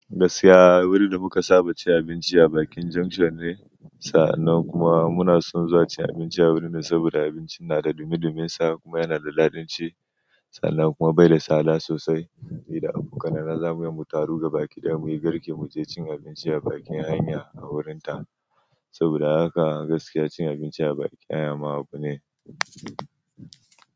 Gaskiya wurin da muka saba cin abinci a bakin junction ne sannan kuma muna son zuwa cin abinci a wurin saboda abincin na da dumi duminsa kuma yana da dadin ci sannan kuma bai da tsada sosai. Ni da abokanai na zamuyi mu taru ga baki don muyi girke muje cin abinci a bakin hanya a wurinta saboda haka gaskiya cin abinci a bakin hanya ma abu ne.